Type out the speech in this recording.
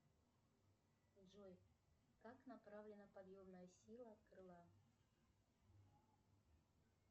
джой как направлена подъемная сила крыла